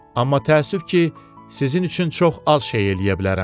Amma təəssüf ki, sizin üçün çox az şey eləyə bilərəm.